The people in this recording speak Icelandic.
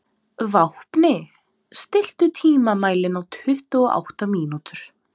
Vápni, stilltu tímamælinn á tuttugu og átta mínútur.